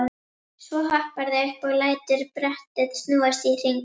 Svo hopparðu upp og lætur brettið snúast í hring.